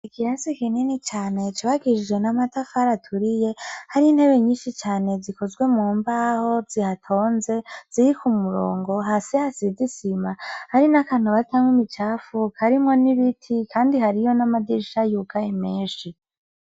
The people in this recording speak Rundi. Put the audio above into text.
Ikirasi kinini cane cubakishijwe n'amatafari aturiye hari intebe nyishi cane zikozwe mu mbaho zihatonze ziri ku murongo hasi hasize isima hari n'akantu batamwo imicafu karimwo n'ibiti kandi hariyo n'amadirisha yugaye meshi.